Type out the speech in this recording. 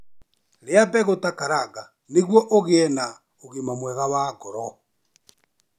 Rĩa mbegũ ta karanga nĩguo ũgĩe na ũgima mwega wa ngoro.